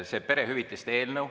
See perehüvitiste eelnõu …